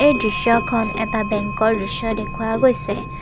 এই দৃশ্যখন এটা বেংকৰ দৃশ্য দেখুওৱা গৈছে।